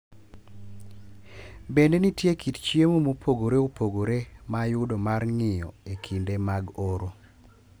Bende nitie kit chiemo mopogore opogore ma ayudo mar ng’iyo e kinde mag oro.